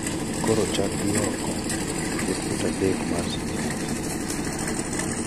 koro chak gi oko. Ket fut adek mar singenge(miloso go od gwen)